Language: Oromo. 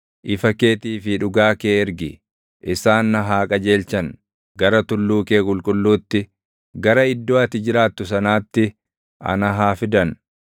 Ifa keetii fi dhugaa kee ergi; isaan na haa qajeelchan; gara tulluu kee qulqulluutti, gara iddoo ati jiraattu sanaatti ana haa fiddan.